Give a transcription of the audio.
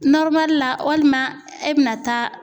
la walima e bɛna taa